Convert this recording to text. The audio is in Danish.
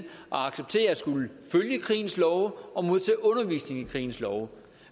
acceptere at skulle følge krigens love og modtage undervisning i krigens love